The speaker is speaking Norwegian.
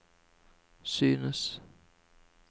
synes